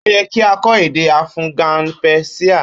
Ó ye kí a kó èdè afughan pérsíà